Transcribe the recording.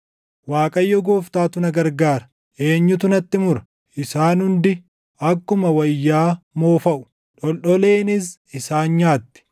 Waaqayyo Gooftaatu na gargaara. Eenyutu natti mura? Isaan hundi akkuma wayyaa moofaʼu; dholdholeenis isaan nyaatti.